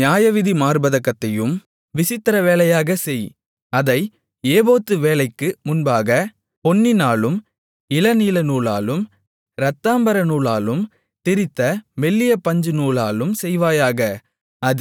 நியாயவிதி மார்ப்பதக்கத்தையும் விசித்திரவேலையாகச் செய் அதை ஏபோத்து வேலைக்கு ஒப்பாகப் பொன்னினாலும் இளநீலநூலாலும் இரத்தாம்பரநூலாலும் திரித்த மெல்லிய பஞ்சுநூலாலும் செய்வாயாக